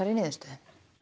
niðurstöðu